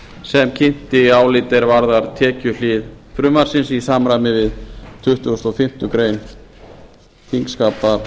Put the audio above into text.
sem kynnti álit er varðar tekjuhlið frumvarpsins í samræmi við tuttugustu og fimmtu greinar þingskapalaga